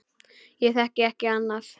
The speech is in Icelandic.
Ég þekki ekki annað.